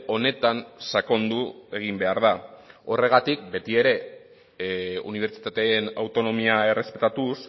honetan sakondu egin behar da horregatik beti ere unibertsitateen autonomia errespetatuz